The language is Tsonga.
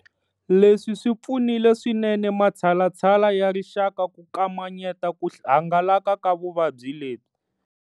Leswi swi pfunile swinene matshalatshala ya rixaka ku kamanyeta ku hangalaka ka vuvabyi lebyi.